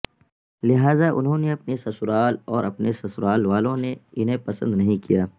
لہذا انہوں نے اپنی سسرال کو اور سسرال والوں نےانہیں پسند نہیں کیا